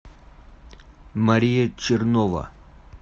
мария чернова